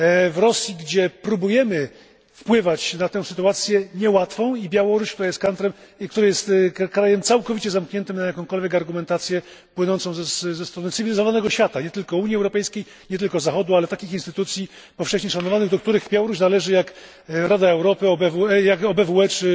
w Rosji, gdzie próbujemy wpływać na tę sytuację, niełatwą, i Białoruś, która jest krajem całkowicie zamkniętym na jakąkolwiek argumentację płynącą ze strony cywilizowanego świata nie tylko Unii Europejskiej, nie tylko Zachodu, ale takich instytucji powszechnie szanowanych, do których Białoruś należy, jak Rada Europy, OBWE czy